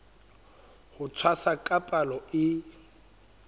ho tshwasa ka palo e